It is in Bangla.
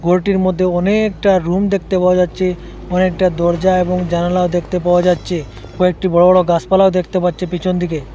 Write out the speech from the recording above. ঘরটির মধ্যে অনেকটা রুম দেখতে পাওয়া যাচ্ছে অনেকটা দরজা এবং জানালা দেখতে পাওয়া যাচ্ছে কয়েকটি বড় বড় গাছপালা দেখতে পাচ্ছি পিছন দিকে।